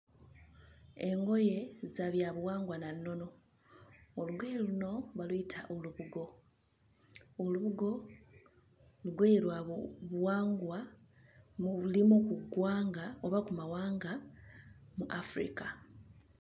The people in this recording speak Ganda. Engoye za byabuwangwa na nnono, olugoye luno baluyita olubugo, olubugo lugoye lwabuwangwa mu limu ku ggwanga oba kumawanga mu Africa.